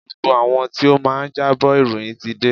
Gbogbo àwọn tí ó máa jábọ̀ ìròyìn ti dé.